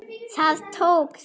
Það tókst.